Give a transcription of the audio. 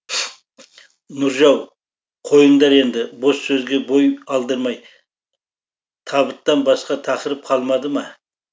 нұржау қойыңдар енді бос сөзге бой алдырмай табыттан басқа тақырып қалмады ма